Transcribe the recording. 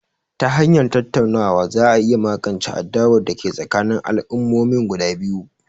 Ta hanyar tattaunawa za a iya magance adawar da ke tsakanin al'ummomin guda biyu